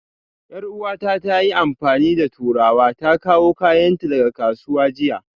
Yar'uwata ta yi amfani da turawa ta kawo kayanta daga kasuwa jiya